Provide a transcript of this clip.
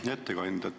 Hea ettekandja!